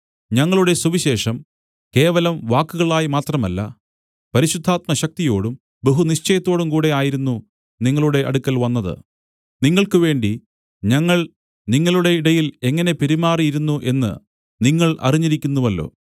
ഞങ്ങളുടെ സുവിശേഷം കേവലം വാക്കുകളായിമാത്രമല്ല പരിശുദ്ധാത്മ ശക്തിയോടും ബഹുനിശ്ചയത്തോടും കൂടെ ആയിരുന്നു നിങ്ങളുടെ അടുക്കൽ വന്നത് നിങ്ങൾക്ക് വേണ്ടി ഞങ്ങൾ നിങ്ങളുടെ ഇടയിൽ എങ്ങനെ പെരുമാറിയിരുന്നു എന്നു നിങ്ങൾ അറിഞ്ഞിരിക്കുന്നുവല്ലോ